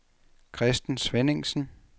Christen Svenningsen